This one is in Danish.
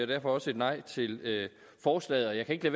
derfor også et nej til forslaget jeg kan ikke